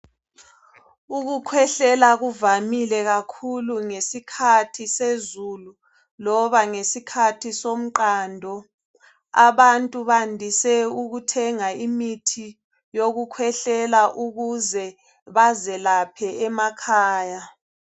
Ukukhwehlela kuvamile kakhulu ngeskhathi sezulu loba ngeskhathi somqando. Abantu bandise ukuthenga imithi yokukhwehlela ukuze bazelaphe emakhaya.